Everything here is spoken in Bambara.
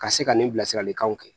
Ka se ka nin bilasiralikanw kɛ